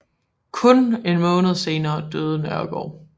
Kun en måned senere døde Nørregård